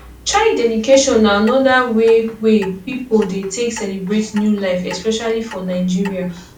child dedication na anoda wey wey pipo take dey celebrate new life especially for nigeria